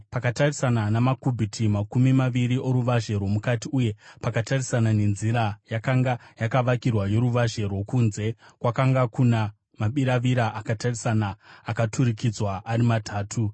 Pakatarisana namakubhiti makumi maviri oruvazhe rwomukati, uye pakatarisana nenzira yakanga yakavakirwa yoruvazhe rwokunze kwakanga kuna mabiravira akatarisana, akaturikidzwa ari matatu.